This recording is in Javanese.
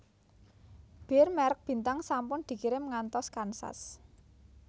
Bir merk Bintang sampun dikirim ngantos Kansas